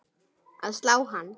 að slá hann.